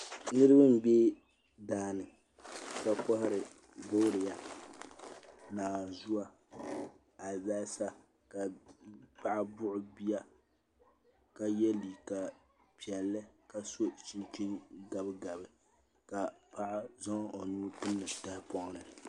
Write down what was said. Niraba n bɛ daani ka kohari boodiyɛ naanzuwa alibarisa ka paɣa buɣi bia ka yɛ liiga piɛlli ka so chinchin gabigabi ka paɣa zaŋ o nuu timdi tahapoŋ ni